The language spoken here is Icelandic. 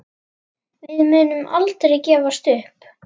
Við munum aldrei gefast upp.